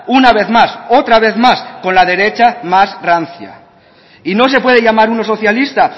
una vez más otra vez más con la derecha más rancia y no se puede llamar uno socialista